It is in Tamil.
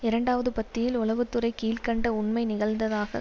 இரண்டாவது பத்தியில் உளவு துறை கீழ் கண்ட உண்மை நிகழ்ந்ததாகக்